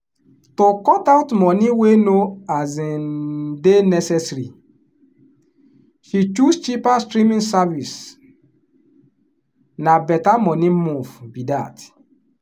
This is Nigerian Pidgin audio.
to cut out money wey no um dey necessary she choose cheaper streaming service — na better money move be that.